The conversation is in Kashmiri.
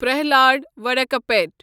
پرہلاد وڈاکپٹ